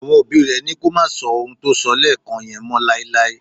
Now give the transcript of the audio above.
Àwọn òbí rẹ̀ ní kó má sọ ohun tó sọ lẹ́ẹ́ẹ̀kàn yẹn mọ́ láéláé.